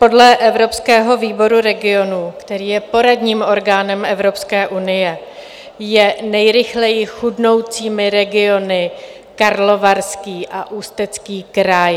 Podle Evropského výboru regionů, který je poradním orgánem Evropské unie, je nejrychleji chudnoucími regiony Karlovarský a Ústecký kraj.